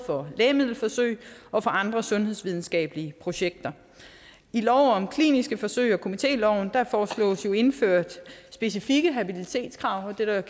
lægemiddelforsøg og for andre sundhedsvidenskabelige projekter i lov om kliniske forsøg og komitéloven foreslås indført specifikke habilitetskrav det